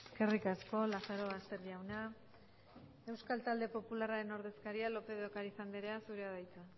eskerrik asko lazarobaster jauna euskal talde popularren ordezkari lopez de ocariz anderea zurea da hitza